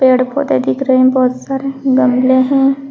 पेड़ पौधे दिख रहे हैं बहुत सारे गमले हैं।